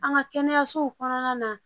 An ka kɛnɛyasow kɔnɔna na